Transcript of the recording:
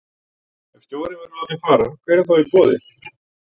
Ef stjórinn verður látinn fara, hver er þá í boði?